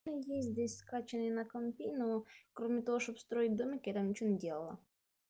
у меня есть здесь скачанный на компе ну кроме того чтобы строить домики я там ничего не делала